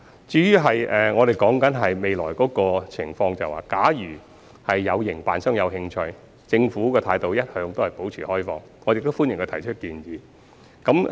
至於未來的情況，假如有營辦商有興趣，政府的態度一直保持開放，亦歡迎他們提出建議。